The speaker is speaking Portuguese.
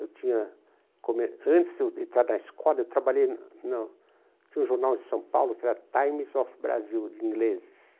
Eu tinha, come antes de entrar na escola, eu trabalhei na na tinha um jornal em São Paulo, que era Times of Brasil, de ingleses.